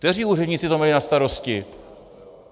Kteří úředníci to mají na starosti?